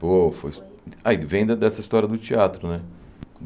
Pô, foi... Advinda dessa história do teatro, né?